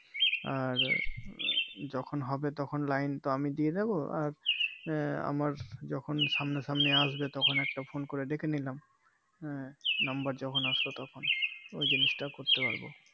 আর যখন হবে তখন লাইন তো আমি দিয়ে দেব আর এর আমার যখন সামনাসামনি আসবে তখন একটা ফোন করে ডেকে নিলাম এর Number যখন আসলো তখন ওই জিনিষটা করতে পারবো